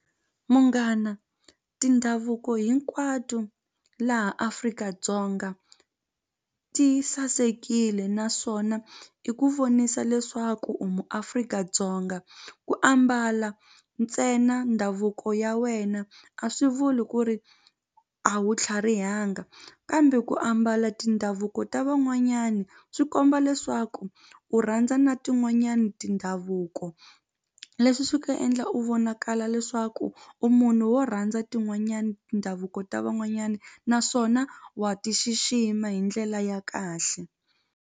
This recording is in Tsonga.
Munghana tindhavuko hinkwato laha Afrika-Dzonga ti sasekile naswona i ku vonisa leswaku u muAfrika-Dzonga ku ambala ntsena ndhavuko ya wena a swi vuli ku ri a wu tlharihanga kambe ku ambala tindhavuko ta van'wanyani swi komba leswaku u rhandza na tin'wanyani tindhavuko leswi swi nga endla u vonakala leswaku u munhu wo rhandza tin'wanyani tindhavuko ta van'wanyani naswona wa ti xixima hi ndlela ya kahle.